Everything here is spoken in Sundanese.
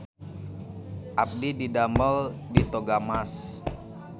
Abdi didamel di Toga Mas